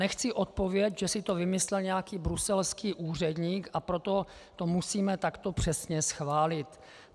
Nechci odpověď, že si to vymyslel nějaký bruselský úředník, a proto to musíme takto přesně schválit.